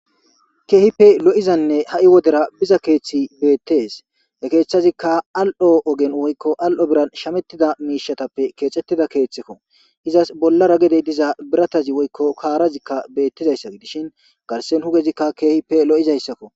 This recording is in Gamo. Keehippe lo'izanne ha'i wodera biza keeththi beettes da keeththazikka al'o ogen woykko al'o biran shamettida miishatappe keexettida keeththekko izas bollara gedey diza biratazi woykko kaarazikka beettizayssa dishin garsen hugezikka keehippe lo'izayssakko.